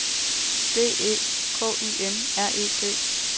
B E K Y M R E T